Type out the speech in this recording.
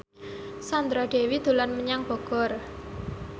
Sandra Dewi dolan menyang Bogor